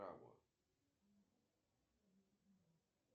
джой какие виды театр кукол имени